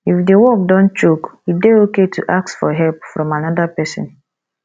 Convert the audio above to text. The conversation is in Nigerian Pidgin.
if di work don choke e dey okay to ask for help from anoda person